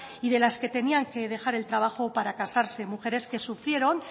y de las que tenían que dejar el trabajo para casarse mujeres que sufrieron